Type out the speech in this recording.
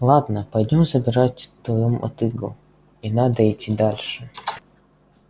ладно пойдём забирать твою мотыгу и надо идти дальше